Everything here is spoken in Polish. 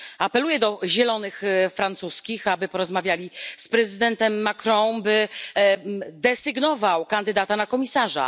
Apeluję do Zielonych z Francji, aby porozmawiali z prezydentem Macron, by desygnował kandydata na komisarza.